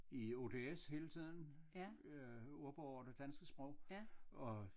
I ODS hele tiden øh ordbog over det danske sprog og